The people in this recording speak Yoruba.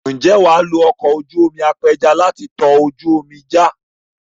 Ǹjẹ́ wà á lo ọkọ̀ ojú omi apẹja láti tọ ojú omi já?